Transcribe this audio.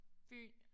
Fyn